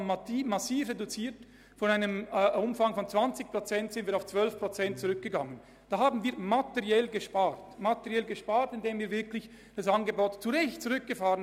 Wir sind von einem Umfang von 20 Prozent auf 13 Prozent zurückgegangen und haben materiell gespart, indem wir das Angebot zu Recht reduziert haben.